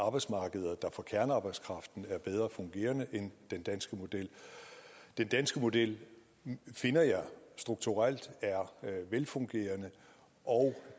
arbejdsmarkeder der for kernearbejdskraften er bedre fungerende end den danske model den danske model finder jeg strukturelt er velfungerende og